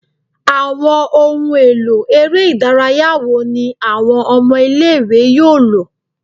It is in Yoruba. Awọn ohun elo ere idaraya wo ni awọn ọmọ ile-iwe yoo lo?